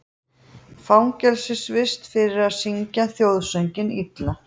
Fangelsisvist fyrir að syngja þjóðsönginn illa